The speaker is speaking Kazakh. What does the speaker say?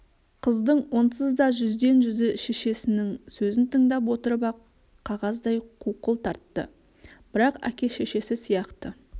қыздың онсыз да жүздең жүзі шешесінің сөзін тыңдап отырып ақ қағаздай қуқыл тартты бірақ әке-шешесі сияқты